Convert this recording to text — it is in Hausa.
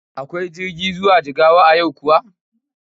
Akwai jirgi zuwa Jigawa a yau kuwa?